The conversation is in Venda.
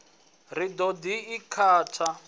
ri ḽi ḓo i kata